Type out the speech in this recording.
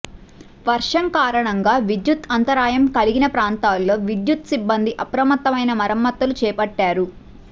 వర్షం కారణంగా విద్యుత్ అంతరాయం కలిగిన ప్రాంతాల్లో విద్యుత్ సిబ్బంది అప్రమత్తమైన మరమ్మతులు చేపట్టారు